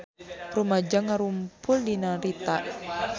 Rumaja ngarumpul di Narita